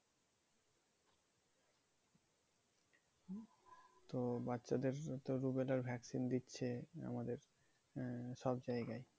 তো বাচ্চাদের তো rubella র vaccine দিচ্ছে মানে আমাদের সব জায়গায়।